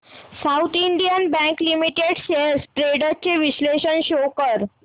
south Indian Bank Limited shares trends चे विश्लेषण show कर